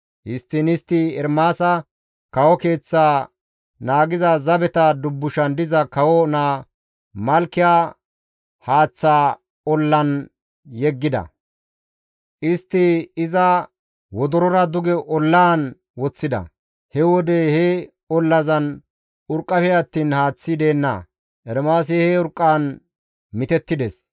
Histtiin istti Ermaasa kawo keeththa naagiza zabeta dubbushan diza kawo naa Malkiya haaththaa ollan yeggida; istti iza wodorora duge ollaan woththida; he wode he ollazan urqqafe attiin haaththi deenna; Ermaasi he urqqaan mitettides.